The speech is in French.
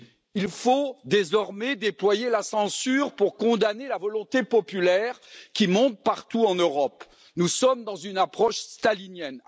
Il faut désormais déployer la censure pour condamner la volonté populaire qui monte partout en Europe. Nous sommes dans une approche stalinienne.